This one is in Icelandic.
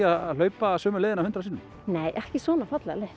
að hlaupa sömu leiðina hundrað sinnum nei ekki svona fallega leið